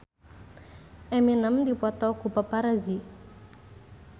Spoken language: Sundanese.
Eminem dipoto ku paparazi